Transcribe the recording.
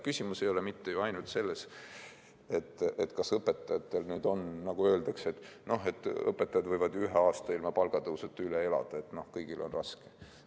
Küsimus ei ole mitte ainult selles, nagu öeldakse, et õpetajad võivad ju ühe aasta ilma palgatõusuta üle elada, et kõigil on raske.